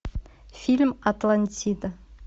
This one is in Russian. фильм атлантида